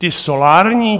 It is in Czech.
Ty solární?